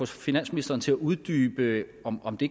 finansministeren til at uddybe om om det